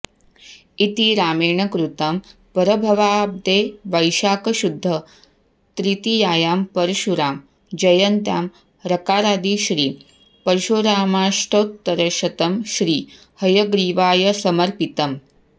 इति रामेणकृतं पराभवाब्दे वैशाखशुद्ध त्रितीयायां परशुराम जयन्त्यां रकारादि श्री परशुरामाष्टोत्तरशतम् श्री हयग्रीवाय समर्पितम्